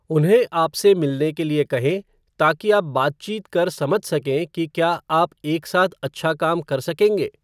उन्हें आपसे मिलने के लिए कहें ताकि आप बातचीत कर समझ सकें कि क्या आप एक साथ अच्छा काम कर सकेंगे।